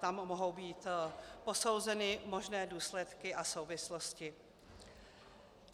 Tam mohou být posouzeny možné důsledky a souvislosti.